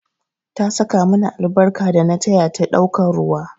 Ta saka mini albarka dana taya ta ɗaukan ruwa